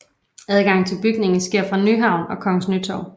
Adgang til bygningen sker fra Nyhavn og Kongens Nytorv